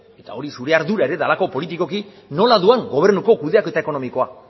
eta hori zure ardura ere delako politikoki nola doan gobernuko kudeaketa ekonomikoa